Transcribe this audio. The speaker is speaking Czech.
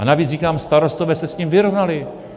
A navíc říkám, starostové se s tím vyrovnali.